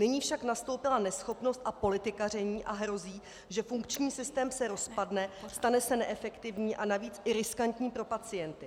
Nyní však nastoupila neschopnost a politikaření a hrozí, že funkční systém se rozpadne, stane se neefektivní a navíc i riskantní pro pacienty.